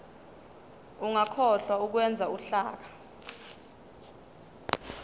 ungakhohlwa ukwenza uhlaka